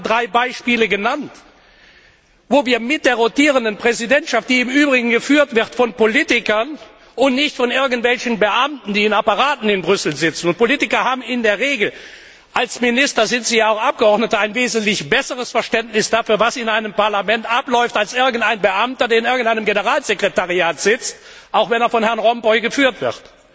Ich habe gerade drei Beispiele genannt, wo wir mit der rotierenden Präsidentschaft die im Übrigen geführt wird von Politikern und nicht von irgendwelchen Beamten, die in Apparaten in Brüssel sitzen und Politiker haben in der Regel als Minister sind sie ja auch Abgeordnete ein wesentlich besseres Verständnis dafür, was in einem Parlament abläuft, als irgendein Beamter, der in einem Generalsekretariat sitzt, auch wenn es von Herrn Van Rompuy geführt wird.